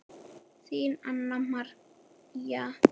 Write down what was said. Þín, Anna María.